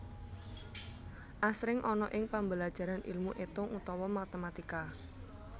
Asring ana ing pambelajaran ilmu étung utawa matématika